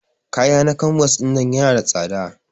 Ƙaya na canvas ɗinnan yana da tsada.